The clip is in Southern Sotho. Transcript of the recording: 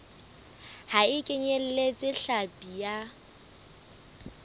ha e kenyeletse hlapi ya